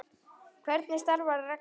Hvernig starfar reglan?